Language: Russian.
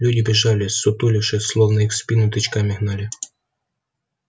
люди бежали ссутулившись словно их в спину тычками гнали